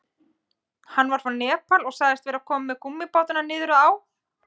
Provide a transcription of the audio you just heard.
Hann var frá Nepal og sagðist vera kominn með gúmmíbátana niður að á.